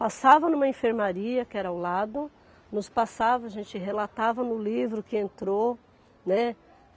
Passava numa enfermaria, que era ao lado, nos passava, a gente relatava no livro que entrou, né?